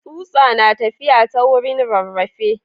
Tsutsa na tafiya ta wurin rarrafe.